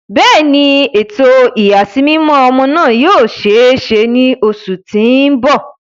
Bẹẹni, eto iyasimimọ ọmọ naa yoo ṣee ṣe ni oṣu ti n bọ.